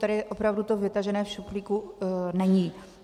Tady opravdu to vytažené z šuplíku není.